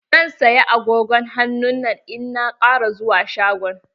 Zan saya agogon hannun nan in na ƙara zuwa shagon.